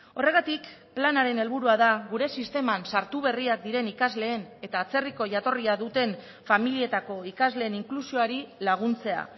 horregatik planaren helburua da gure sisteman sartu berriak diren ikasleen eta atzerriko jatorria duten familietako ikasleen inklusioari laguntzea